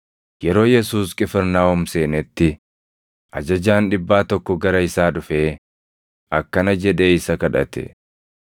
Yeroo Yesuus Qifirnaahom seenetti, ajajaan dhibbaa tokko gara isaa dhufee akkana jedhee isa kadhate;